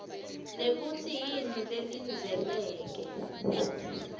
nekutsi yini lelindzeleke